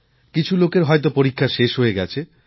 কিছু লোকের হয়তো পরীক্ষা শেষ হয়ে গেছে